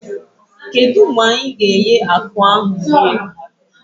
Kedụ mgbe anyị ga-eghe akụ ahụ eri?